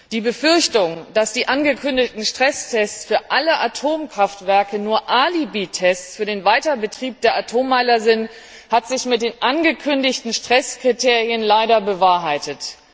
Die Befürchtung, dass die angekündigten Stresstests für alle Atomkraftwerke nur Alibitests für den Weiterbetrieb der Atommeiler sind, hat sich mit den angekündigten Stresskriterien leider bewahrheitet.